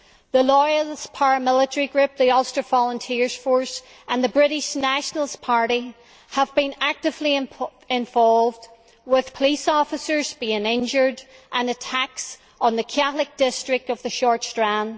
The loyalist paramilitary group the Ulster Volunteer Force, and the British National Party have been actively involved with police officers being injured and attacks on the Catholic district of the Short Strand.